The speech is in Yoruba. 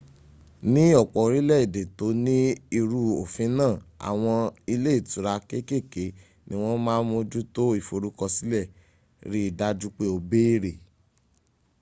ni ọpọ orilẹede to ni iru ofin naa awọn ile itura kekeke ni wọn ma moju to iforukọsilẹ ri daju pe o bere